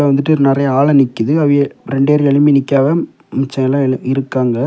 வந்துட்டு நெறைய ஆள் நிக்குது அவிய ரெண்டு பேர் எழும்பி நிக்காங்க மிச்ச எழு எல்லா இருக்காங்க.